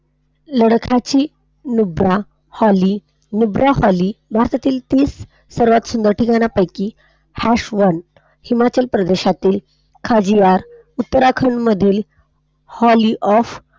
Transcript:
लडाखची नुब्रा हॉल, नुब्रा हॉली, भारतातील सर्वात सुंदर ठिकाणांपैकी ह्याश न हिमाचल प्रदेशातील खज्जियार, उत्तराखंड मधील हॉली ऑफ,